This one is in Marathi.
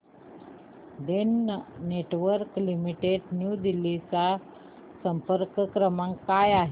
Den networks limited new Delhi चा संपर्क क्रमांक काय आहे